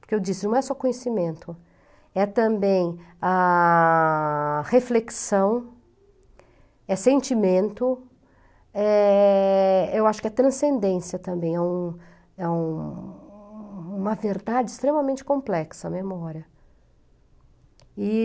Porque eu disse, não é só conhecimento, é também a reflexão, é sentimento, é... eu acho que é transcendência também, é uma é uma verdade extremamente complexa, a memória.